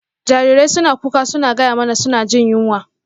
Jarirai suna kuka suna gaya mana suna jin yunwa.